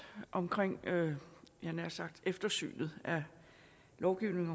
omkring jeg havde nær sagt eftersynet af lovgivningen